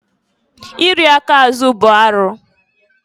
I ri aka azụ bụ arụ.